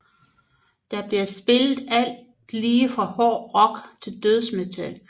Der bliver spillet alt lige fra hård rock til dødsmetal